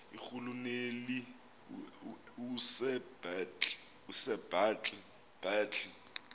irhuluneli usir bartle